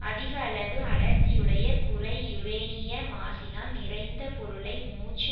அதிக அளவு அடர்த்தியுடைய குறை யுரேனிய மாசினால் நிறைந்த பொருளை மூச்சு